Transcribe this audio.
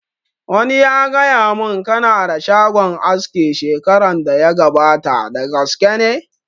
Wani ya gaya mun ka na da shagon aski shekaran da ya gabata, da gaske ne?